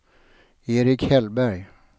Erik Hellberg